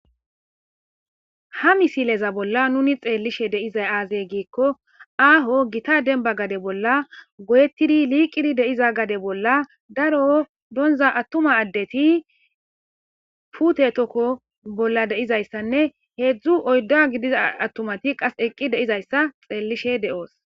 Ha misileza bolla nuni xeellishe de7izay aazey giikko aaho gita dembba gade bolla goyettidi liiqidi deiza gade bolla daro donza attuma addeti pute tokko bolla de7izayssanne heedzdzu oydda gidiza attumati qas eqqi de7izayssa xeellishe de7oos.